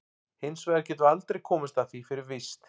Hins vegar getum við aldrei komist að því fyrir víst.